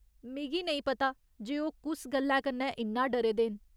मिगी नेईं पता जे ओह् कुस गल्लै कन्नै इन्ना डरे दे न।